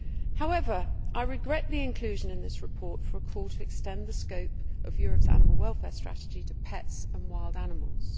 However, I regret the inclusion in this report of a call to extend the scope of Europe's animal welfare strategy to pets and wild animals.